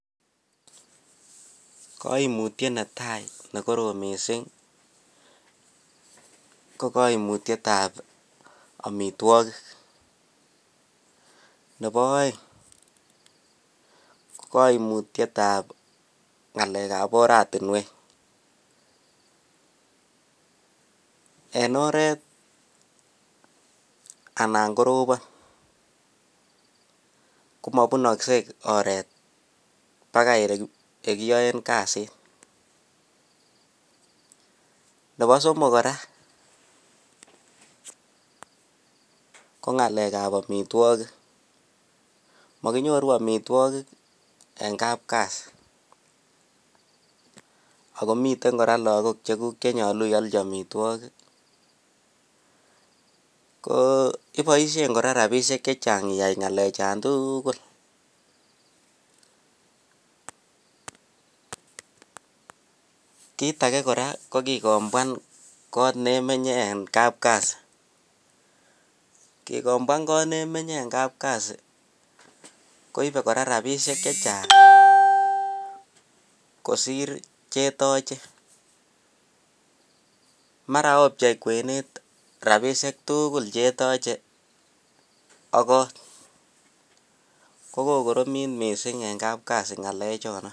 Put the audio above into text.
Koimutyet netai nekorom missing ko koimutyetab omitwokik, nebo oeng ko koimutyetab ngalek ab oratinwek en oret anan korobon komobunokse oret pakai yekiyoe kasit. Nebo somok Koraa kongalek ab omitwokik mokinyoru omitwokik en kapkazi ako miten Koraa lokok chekuk chenyolu iolji omitwokik koo iboishen Koraa rabishek chechang iyai ngalek chon tuukul .kit age koraa ko kikobwan kot nemenye en kapkazi, kikobwan kot nemenye en kapkazi koibe Koraa rabishek chechang kosir chetoche, maraa opchei kwenet rabishek tuukul chetoche okot ko kokoromit missing en kapkazi ngalek chono.